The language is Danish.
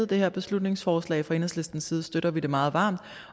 det her beslutningsforslag fra enhedslistens side støtter vi det meget varmt